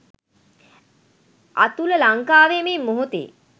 අතුල ලංකාවෙ මේ මොහොතෙ